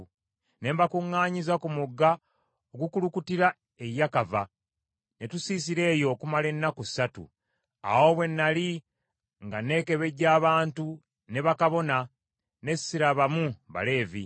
Ne mbakuŋŋaanyiza ku mugga ogukulukutira e Yakava, ne tusiisira eyo okumala ennaku ssatu. Awo bwe nnali nga nneekebejja abantu ne bakabona, ne sirabamu Baleevi.